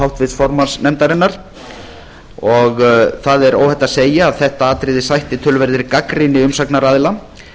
háttvirts formanns nefndarinnar og það er óhætt að segja að þetta atriði sætti töluverðri gagnrýni umsagnaraðila